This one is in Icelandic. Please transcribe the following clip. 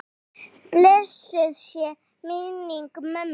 Blessuð sé minning mömmu.